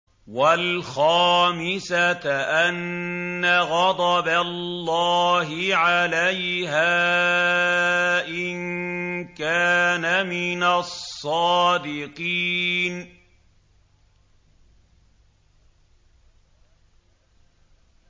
وَالْخَامِسَةَ أَنَّ غَضَبَ اللَّهِ عَلَيْهَا إِن كَانَ مِنَ الصَّادِقِينَ